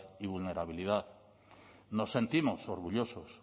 y vulnerabilidad nos sentimos orgullosos